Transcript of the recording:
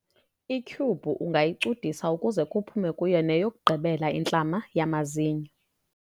ityhubhu ungayicudisa ukuze kuphume kuyo neyokugqibela intlama yamazinyo